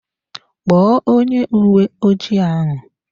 Kpọọ onye uwe ojii ahụ!